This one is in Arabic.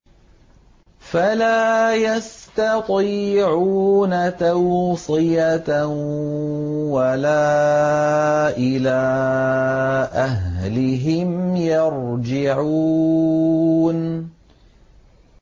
فَلَا يَسْتَطِيعُونَ تَوْصِيَةً وَلَا إِلَىٰ أَهْلِهِمْ يَرْجِعُونَ